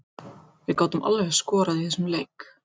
Við gátum alveg skorað í þessum leik.